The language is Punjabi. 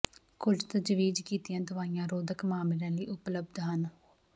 ਕੁਝ ਤਜਵੀਜ਼ ਕੀਤੀਆਂ ਦਵਾਈਆਂ ਰੋਧਕ ਮਾਮਲਿਆਂ ਲਈ ਉਪਲੱਬਧ ਹਨ